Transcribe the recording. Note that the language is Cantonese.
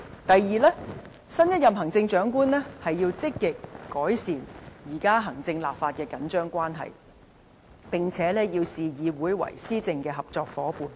第二，新一任行政長官應積極改善現時行政立法的緊張關係，並視議會為施政的合作夥伴。